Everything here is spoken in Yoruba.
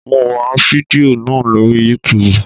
Mo ń wá fidió náà lóri yútubù.